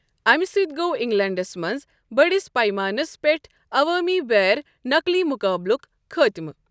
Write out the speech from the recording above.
اَمہِ سۭتۍ گوٚو انگلینڈَس منٛز بٔڑِس پیمانَس پٮ۪ٹھ عوامی بیر نکٔلۍ مُقابلُک خٲتمہٕ۔